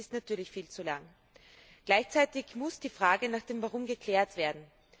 Das ist natürlich viel zu lange. Gleichzeitig muss die Frage nach dem Warum geklärt werden.